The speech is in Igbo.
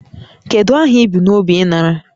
Kedu aha ị bu n'obi ịnara